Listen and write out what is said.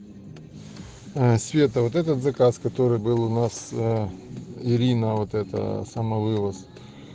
ээ света вот этот заказ который был у нас ээ ирина вот это самовывоз